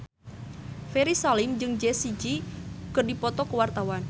Ferry Salim jeung Jessie J keur dipoto ku wartawan